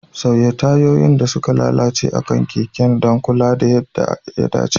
Sauya tayoyin da suka lalace akan keken don kula da yadda ya dace.